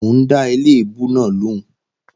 Mò ń dá eléèbú náà lòún